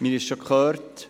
Wir haben es gehört: